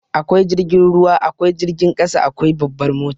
Akwai jirgin ruwa, akwai jirgin ƙasa, akwai babbar mota.